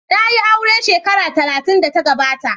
Na yi aure shekara talatin da ta gabata.